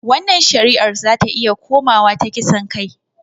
Wannan shari'ar zata iya komawa ta kisan kai